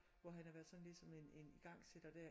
Hvor han har været sådan ligesom en en igangsætter dér